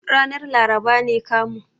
Ranar laraba ne kamun.